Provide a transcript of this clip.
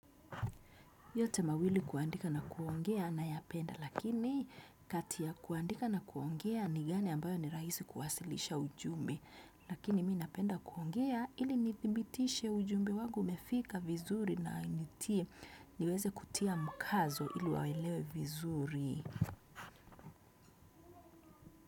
Yote mawili kuandika na kuongea nayapenda lakini kati ya kuandika na kuongea ni gani ambayo ni rahisi kuwasilisha ujumbe. Lakini mi napenda kuongea ili nithibitishe ujumbe wangu umefika vizuri na nitie niweze kutia mkazo ili waelewe vizuri.